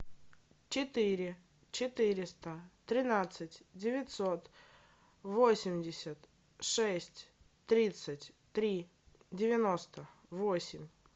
четыре четыреста тринадцать девятьсот восемьдесят шесть тридцать три девяносто восемь